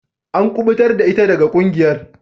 An kubutar da ita daga kungiyar.